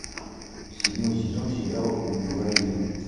седьмой сезон сериала убивая еву